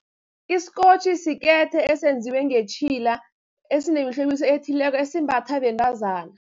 Iskotjhi sikethe esenziwe ngetjhila, esinemihlobiso ethileko, esimbathwa bentazana.